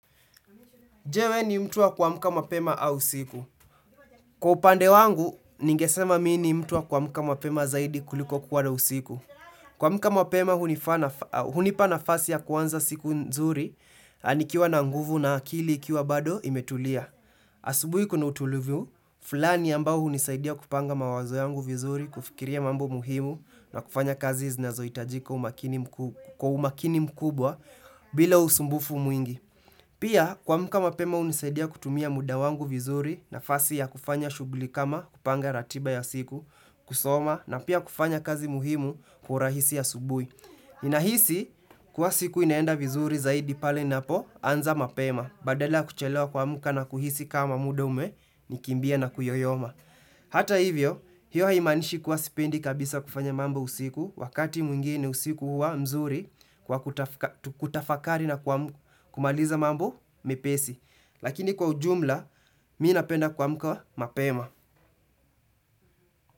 Je we ni mtu wa kuamka mapema au usiku. Kwa upande wangu, ningesema mi ni mtu wa kuamuka mapema zaidi kuliko kuwa na usiku. Kwa muka mapema, hunipa nafasi ya kuanza siku nzuri, nikiwa na nguvu na akili ikiwa bado imetulia. Asubui kuna utulivu, fulani ambao hunisaidia kupanga mawazo yangu vizuri, kufikiria mambo muhimu na kufanya kazi znazo itajika umakini mkuu kwa umakini mkubwa bila usumbufu mwingi. Pia, kwa muka mapema unisaidia kutumia muda wangu vizuri na fasi ya kufanya shugli kama kupanga ratiba ya siku, kusoma, na pia kufanya kazi muhimu kwa urahisi asubui. Nahisi, kwa siku inaenda vizuri zaidi pale ninapo, anza mapema, badala kuchelewa kuamka na kuhisi kama muda ume, nikimbia na kuyoyoma. Hata hivyo, hiyo haimanishi kuwa sipendi kabisa kufanya mambo usiku wakati mwingine usiku huwa mzuri kwa kutafakari na kumaliza mambo mepesi. Lakini kwa ujumla, minapenda kuamka mapema.